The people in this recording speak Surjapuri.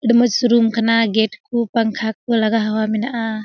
इन मस रूम खना गेट कु पंखा कु लगा हुआ मेनहा।